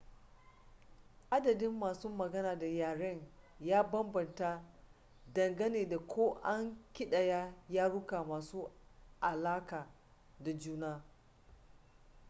adadin masu magana da yaren ya bambanta dangane da ko an ƙidaya yaruka masu alaƙa da juna